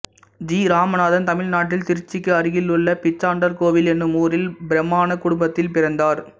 G Ramanathan தமிழ்நாட்டில் திருச்சிக்கு அருகிலுள்ள பிச்சாண்டார்கோவில் எனும் ஊரில் பிராமணக் குடும்பத்தில் பிறந்தார்